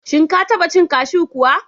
Shin Ka taba cin kashew kuwa?